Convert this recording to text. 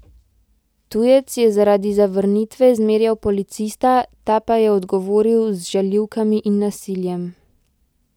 Tujec je zaradi zavrnitve zmerjal policista, ta pa je odgovoril z žaljivkami in nasiljem.